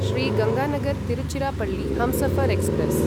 Shri Ganganagar Tiruchirappalli Humsafar express